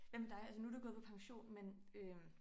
Hvad med dig altså nu du jo gået på pension men øh